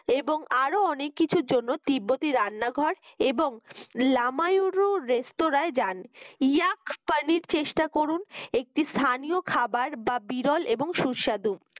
এবং আরো অনেক কিছুর জন্য তিব্বতি রান্নাঘর এবং লামা ইউরোর restaurant যান ইয়াকপানির চেষ্টা করুন একটি স্থানীয় খাবার বা বিরল এবং সুস্বাদ